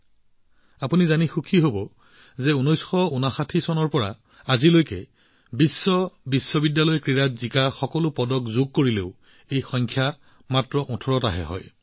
আপোনালোকে জানি আনন্দিত হব যে ১৯৫৯ চনৰ পৰা অনুষ্ঠিত হোৱা সকলো বিশ্ব বিশ্ববিদ্যালয় গেমছত লাভ কৰা সকলো পদক যোগ কৰিলেও এই সংখ্যা মাত্ৰ ১৮টাহে হয়